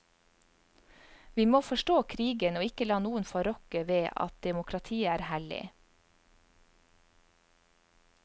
Vi må forstå krigen og ikke la noen få rokke ved at demokratiet er hellig.